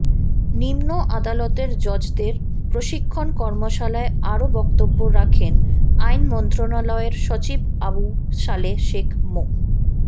নিম্ন আদালতের জজদের প্রশিক্ষণ কর্মশালায় আরও বক্তব্য রাখেন আইন মন্ত্রণালয়ের সচিব আবু সালেহ শেখ মো